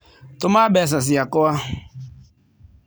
Tũma mbeca ciakwa.